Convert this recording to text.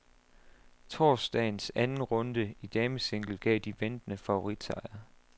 Torsdagens anden runde i damesingle gav de ventede favoritsejre.